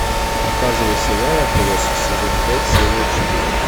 показывай сериал отбросы сезон пять серия четыре